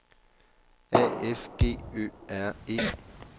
A F G Ø R E